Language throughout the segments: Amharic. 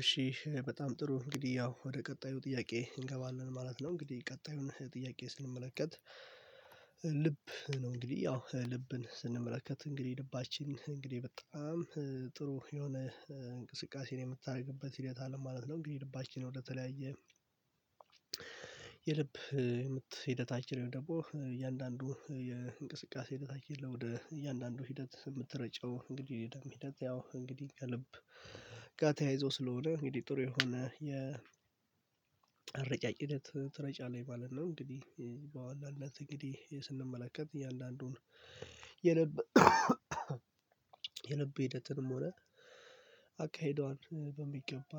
እሺ በጣም ጥሩ እንግዲህ ያው ወደ ቀጣዩ ጥያቄ እንገባለን ማለት ነው። እንግዲህ ቀጣዩን ጥያቄ ስንመለከት። ልብ ነው እንግዲህ ያው ልብን ስንመለከት እንግዲህ ልባችን እንግዲህ በጣም ጥሩ የሆነ እንቅስቃሴ ነው የምታደርግበት ሂደት አለ ማለት ነው። እንግዲህ ልባችን ወደተለያየ የልብ ምት ሂደታችን ደግሞ እያንዳንዱ የእንቅስቃሴ ሂደታችን ላይ ወደ እያንዳንዱ ሂደት የምትረጨው እንግዲህ የደም ሂደት ያው እንግዲህ ከልብ ጋር ተያይዞ ስለሆነ እንግዲህ ጥሩ የሆነ የአረጫጭ ሂደት ትረጫለች ማለት ነው። እንግዲህ በዋናነት እንግዲህ ስንመለከት እየአንዳንዱን የልብ የልብ ሂደትንም ሆነ አካሄዷን በሚገባ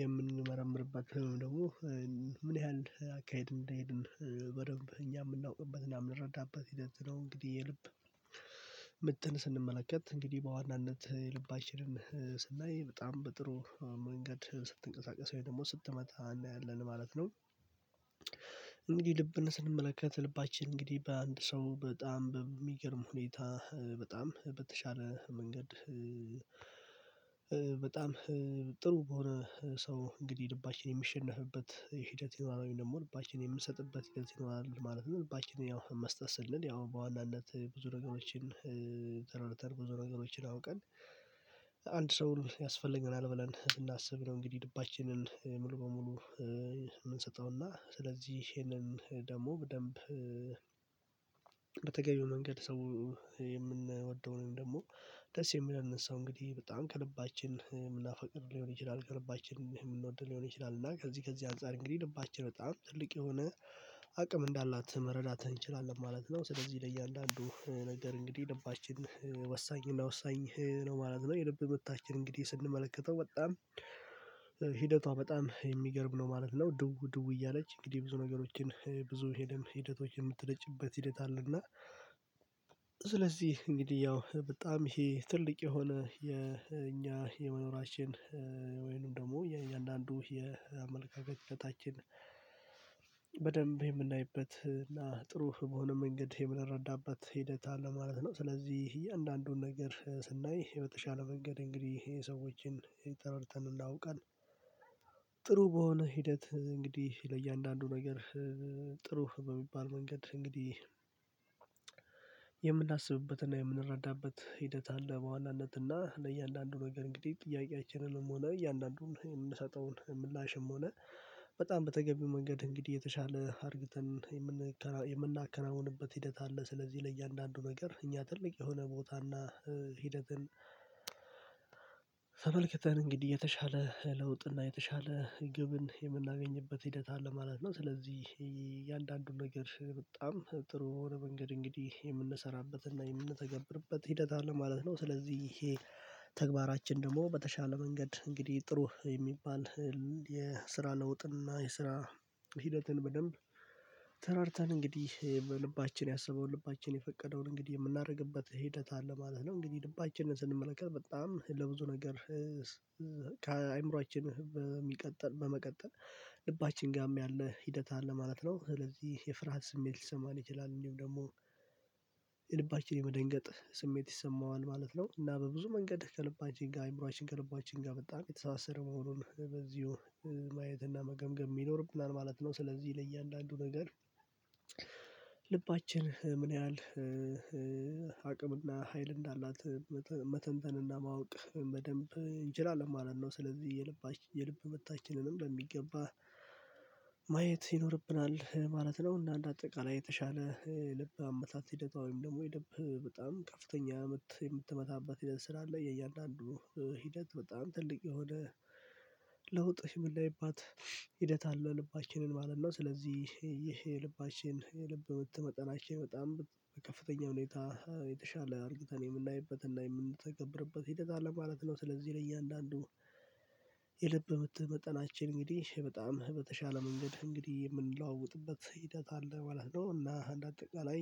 የምንመረምርበት ደግሞ ምን ያህል አካሄድ እንደሄድን በደንብ እኛ የምናውቅበትና የምንረዳበት ሂደት ነው። እንግዲህ የልብ ምትን ስንመለከት እንግዲህ በዋናነት ልባችንንም ስናይ በጣም በጥሩ መንገድ ስትንቀሳቀስ ወይ ደግሞ ስትመታ እናያለን ማለት ነው። እንግዲህ ልብን ስንመለከት ልባችን እንግዲህ በአንድ ሰው በጣም በሚገርም ሁኔታ በጣም በተሻለ መንገድ በጣም ጥሩ በሆነ ሰው እንግዲህ ልባችን የሚሸነፍበት ሂደት ይኖራል ወይም ደግሞ ልባችን የምንሰጥበት ሂደት ይኖራል ማለት ነው። ልባችን ያው መስጠት ስልን ያው በዋናነት ብዙ ነገሮችን ተረድተን ብዙ ነገሮችን አውቀን አንድ ሰው ያስፈልገናል ብለን ስናስብ ነው። እንግዲህ ልባችንን ሙሉ በሙሉ የምንሰጠውና ስለዚህ ይሄንን ደግሞ በደንብ በተገቢው መንገድ ሰው የምንወደውን ደግሞ ደስ የሚለንን እንግዲህ በጣም ከልባችን የምናፈቅር ሊሆን ይችላል ከልባችን የምንወድ ሊሆን ይችላል። እና ከዚህ ከዚህ አንፃር እንግዲህ ልባችን በጣም ትልቅ የሆነ አቅም እንዳላት መረዳት እንችላለን ማለት ነው። ስለዚህ ለእያንዳንዱ ነገር እንግዲህ ልባችን ወሳኝ እና ወሳኝ ነው ማለት ነው። የልብ ምታችን እንግዲህ ስንመለከተው በጣም ሂደቷ በጣም የሚገርም ነው ማለት ነው። ድው ድው እያለች እንግዲህ ብዙ ነገሮችን ብዙ የደም ሂደቶችን የምትረጭበት ሂደት አለና። ስለዚህ እንግዲህ ያው በጣም ይሄ ትልቅ የሆነ የኛ የመኖራችን ወይንም ደግሞ የእያንዳንዱ የአመለካከታችን በደንብ የምናይበት እና ጥሩ በሆነ መንገድ የምንረዳበት ሂደት አለ ማለት ነው። ስለዚህ እያንዳንዱን ነገር ስናይ በተሻለ መንገድ እንግዲህ የ ሰዎችን ተረጥተን እንዳውቃል ጥሩ በሆነ ሂደት እንግዲህ ለእያንዳንዱ ነገር ጥሩ በሚባል መንገድ እንግዲህ የምናስብበትና የምንረዳበት ሂደት አለ። በዋናነትና ለእያንዳንዱ ነገር እንግዲህ ጥያቄአችንንም ሆነ እያንዳንዱን የምንሰጠውን ምላሽም ሆነ በጣም በተገቢው መንገድ እንግዲህ የተሻለ አርግተን የምናከናውንበት ሂደት አለ። ስለዚህ ለእያንዳንዱ ነገር እኛ ትልቅ የሆነ ቦታና ሂደትን ተመልክተን እንግዲህ የተሻለ ለውጥና የተሻለ ግብን የምናገኝበት ሂደት አለ ማለት ነው። ስለዚህ እያንዳንዱን ነገር በጣም ጥሩ ሆነ መንገድ እንግዲህ የምንሰራበትና የምንተገብርበት ሂደት አለ ማለት ነው። ስለዚህ ይሄ ተግባራችን ደግሞ በተሻለ መንገድ እንግዲህ ጥሩ የሚባል የስራ ለውጥና የስራ ሂደትን በደንብ ተራርተን እንግዲህ በልባችን ያሰበውን ልባችን የፈቀደውን እንግዲህ የምናደርግበት ሂደት አለ ማለት ነው። እንግዲህ ልባችንን ስንመለከት በጣም ለብዙ ነገር ከአእምሮአችን በመቀጠል ልባችን ጋርም ያለ ሂደት አለ ማለት ነው። ስለዚህ የፍርሃት ስሜት ሊሰማን ይችላል እንዲሁም ደግሞ የልባችን የመደንገጥ ስሜት ይሰማዋል ማለት ነው። እና በብዙ መንገድ ከልባችን ጋር ከአእምሮአችን ከልባችን ጋር በጣም የተሳሰረ መሆኑን በዚሁ ማየት እና መገምገም ይኖርብናል ማለት ነው። ስለዚህ ለእያንዳንዱ ነገር ልባችን ምን ያህል አቅምና ሀይል እንዳላት መተንተንና ማወቅ በደንብ እንችላለን ማለት ነው። ስለዚህ የልብ የልብ ምታችንንም በሚገባ ማየት ይኖርብናል ማለት ነው። እና እንደ አጠቃላይ የተሻለ ልብ አመታት ሂደቷ ወይም ደግሞ የልብ በጣም ከፍተኛ ምት የምትመታበት ሂደት ስላለ የእያንዳንዱ ሂደት በጣም ትልቅ የሆነ ለውጥ ምን ምናይባት ሂደት አለ ልባችንን ማለት ነው። ስለዚህ ይህ የልባችን የልብ ምት መጠናችን በጣም በከፍተኛ ሁኔታ የተሻለ አርግተን የምናይበትና የምንተገብርበት ሂደት አለ ማለት ነው። ስለዚህ ለእያንዳንዱ የልብ ምት መጠናችን እንግዲህ በጣም በተሻለ መንገድ እንግዲህ የምንለዋወጥበት ሂደት አለ ማለት ነው። እና እንደ አጠቃላይ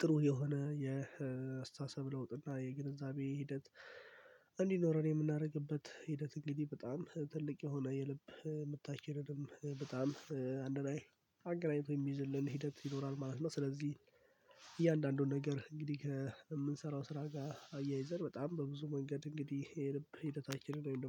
ጥሩ የሆነ የአስተሳሰብ ለውጥ እና የግንዛቤ ሂደት እንዲኖረን የምናደርግበት ሂደት እንግዲህ በጣም ትልቅ የሆነ የልብ ምታችንንም በጣም አንድ ላይ አገናኝቶ የሚይዝልን ሂደት ይኖራል ማለት ነው። ስለዚህ እያንዳንዱን ነገር እንግዲህ ከምንሰራው ስራ ጋር አያይዘን በጣም በብዙ መንገድ እንግዲህ የልብ ሂደታችንን